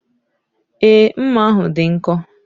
Èé, mma ahụ dị nkọ.